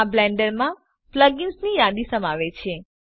આ બ્લેન્ડર માં પ્લગ ઇનસની યાદી સમાવે છે